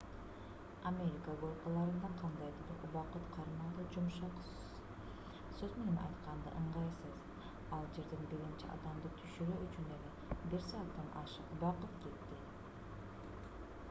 америка горкаларында кандайдыр бир убакыт кармалуу жумшак сөз менен айтканда ыңгайсыз ал жерден биринчи адамды түшүрүү үчүн эле бир сааттан ашык убакыт кетти